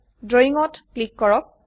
Drawingত click কৰক